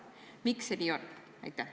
Miks see nii on?